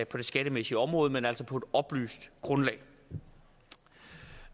på det skattemæssige område men altså på oplyst grundlag